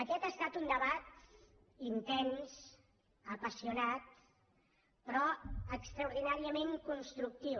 aquest ha estat un debat intens apassionat però extraordinàriament constructiu